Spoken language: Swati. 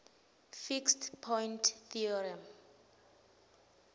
fixed point theorem